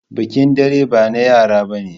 Bikin dare ba na yara bane.